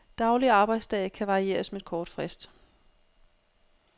Daglig arbejdsdag kan varieres med kort frist.